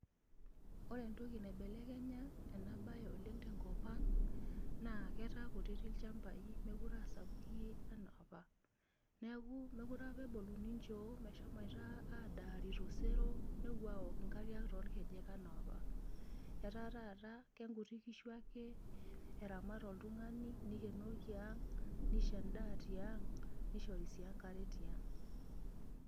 Ore entoki naibelekenya oleng' ena siai tenkop ang' naa ketaa kutitik ilchambai, mookire aa sapukin anaapa. Niaku mookire apa eboluni nchoo meshomoito nepuo adaare tosero nepuo aok nkariak toorkejek anaapa . Etaa taata kenkuti nkishu eramat oltung'ani nikienoki ang', nisho endaa tiang', nishori sii enkare tiang'.